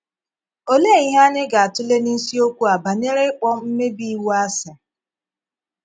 Òlee ihe anyị ga - atụ̀lè n’isiokwu a banyere ịkpọ mmèbí iwu àsị?